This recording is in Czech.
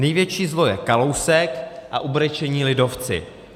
Největší zlo je Kalousek a ubrečení lidovci.